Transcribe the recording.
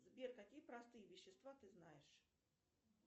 сбер какие простые вещества ты знаешь